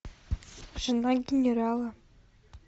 жена генерала